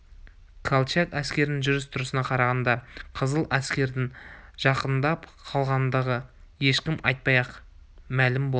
колчак әскерінің жүріс-тұрысына қарағанда қызыл әскердің жақындап қалғандығы ешкім айтпай-ақ мәлім болды